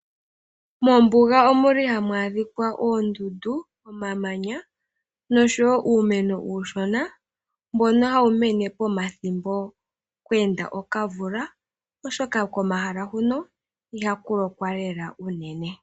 Mombuga omu li hamu adhikwa oondundu, omamanya nosho wo uumeno uushona, mbono hawu mene pomathimbo kwe enda okamvula. Oshoka komahala huno, ihaku lokwa lela unene.